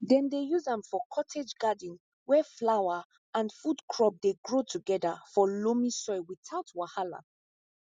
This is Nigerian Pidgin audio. dem dey use am for cottage garden where flower and food crop dey grow together for loamy soil without wahala